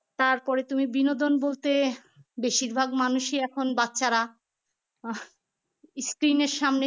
তারপর তুমি বিনোদন বলতে বেশিরভাগ মানুষই এখন বাচ্চারা আহ screen এর সামনে